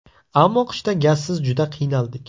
Ammo qishda gazsiz juda qiynaldik.